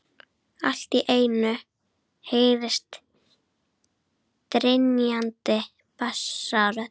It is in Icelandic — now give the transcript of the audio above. Allt í einu heyrist drynjandi bassarödd.